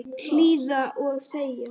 Hlýða og þegja.